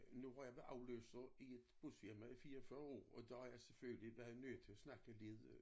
Nu har jeg været afløser i et busfirma i 44 år og der har jeg selvfølgelig været nødt til at snakke lidt øh